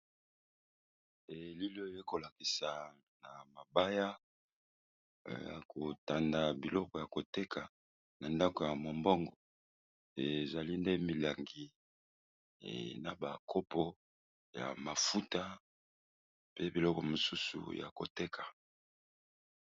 Bilili oyo ezali kolakisa biso, eza ndeko songolo atandi biloko naye ébélé, azali bongo koteka